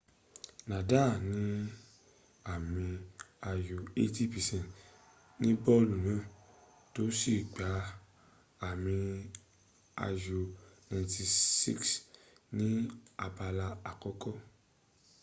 nadal ní àmì ayò 88% ní bọ́ọ̀lù náà tó sì gba àmì ayò 76 ní abala àkọ́kọ́